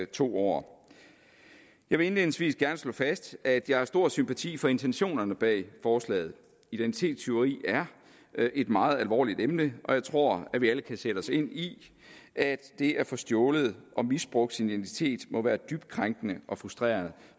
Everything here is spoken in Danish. to år jeg vil indledningsvis gerne slå fast at jeg har stor sympati for intentionerne bag forslaget identitetstyveri er et meget alvorligt emne og jeg tror at vi alle kan sætte os ind i at det at få stjålet og misbrugt sin identitet må være dybt krænkende og frustrerende